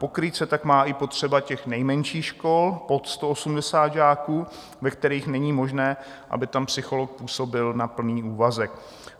Pokrýt se tak má i potřeba těch nejmenších škol pod 180 žáků, ve kterých není možné, aby tam psycholog působil na plný úvazek.